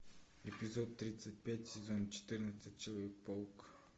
эпизод тридцать пять сезон четырнадцать человек паук